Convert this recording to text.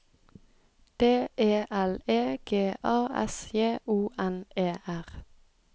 D E L E G A S J O N E R